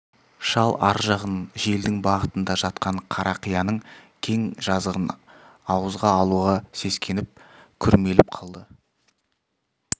шал ар жағын желдің бағытында жатқан қарақияның кең жазығын ауызға алуға сескеніп күрмеліп қалды